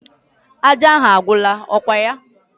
Aja ahụ agwụla, ọkwa ya?